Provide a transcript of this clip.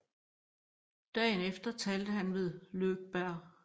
Dagen efter talte han ved Lögberg